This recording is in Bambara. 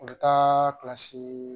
U bɛ taa kilasi